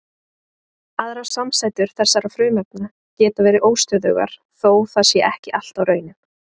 Aðrar samsætur þessara frumefna geta verið óstöðugar þó það sé ekki alltaf raunin.